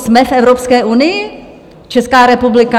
Jsme v Evropské unii, Česká republika?